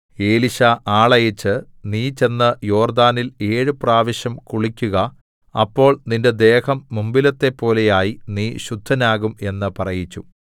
എലീശാ ആളയച്ച് നീ ചെന്ന് യോർദ്ദാനിൽ ഏഴു പ്രാവശ്യം കുളിക്കുക അപ്പോൾ നിന്റെ ദേഹം മുമ്പിലത്തെപ്പോലെയായി നീ ശുദ്ധനാകും എന്ന് പറയിച്ചു